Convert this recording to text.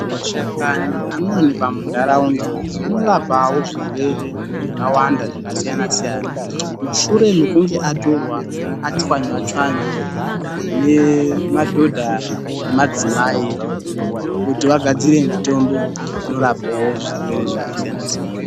Mashakani anowanikwa muntaraunda anorapawo zvirwere zvakawanda zvakasiyana siyana. Mushure mekunge atorwa, atswanywa tswanywa nemadhodha nemadzimai kuti vagadzire mutombo unorapawo zvirwere zvakasiyana siyana.